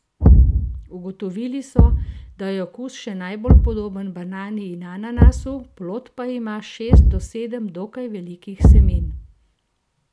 Ugotovili so, da je okus še najbolj podoben banani in ananasu, plod pa ima šest do sedem dokaj velikih semen.